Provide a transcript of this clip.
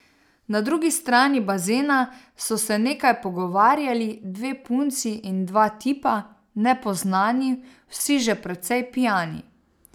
Na drugi strani bazena so se nekaj pogovarjali dve punci in dva tipa, nepoznani, vsi že precej pijani.